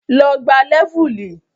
Lọ gbá Lẹ́vùlì!